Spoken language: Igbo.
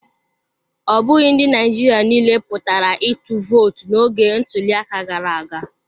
Ọ bụghị ndị Naịjirịa niile pụtara ịtụ vootu n'oge ntuliaka gara aga.